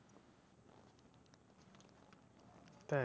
তাই?